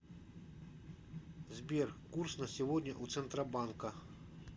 сбер курс на сегодня у центробанка